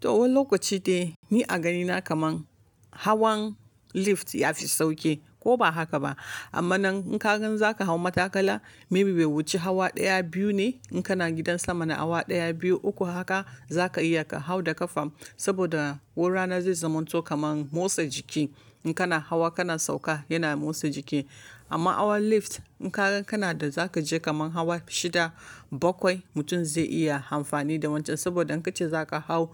To wani lokaci dai ni a ganina kaman hawan lift ya fi sauƙi ko ba haka ba. Amma nan in ka gan za ka hau matakala maybe bai wuce hawa ɗaya biyu ne. In kana gidan sama na awa ɗaya, biyu, uku haka za ka iya ka hau da ƙafan saboda wurana zai zamanto kaman motsa jiki. In kana hawa kana sauka yana motsa jiki. Amma hawan lift in ka gan kana da za ka je kaman hawa shida, bakwai mutum zai iya amfani da wancan saboda in ka ce za ka hau,